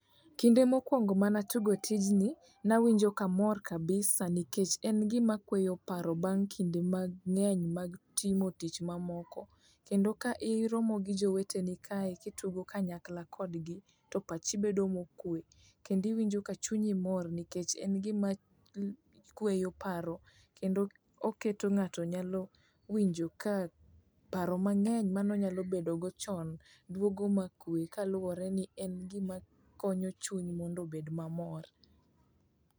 Kinde mokwongo manatugo tijni, nawinjo kamor kabisa nikech en gima kweyo paro bang' kinde mag ng'eny mag timo tich mamoko kendo ka iromo gi joweteni kae kitugo kanyakla kodgi, to pachi bedo mokwe kendi iwinjo ka chunyi mor nikech en gima kweyo paro kendo oketo ng'ato nyalo winjo ka paro mang'eny manonyalo bedogo chon dwogo makwe kaluwore ni en gimakonyo chuny mondo obed mamor.